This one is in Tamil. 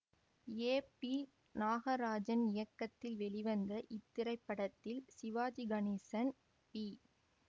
ஏ பி நாகராஜன் இயக்கத்தில் வெளிவந்த இத்திரைப்படத்தில் சிவாஜி கணேசன் பி